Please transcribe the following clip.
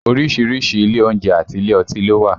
Orísìírísìí ilé oúnjẹ àti ilé ọtí ló wà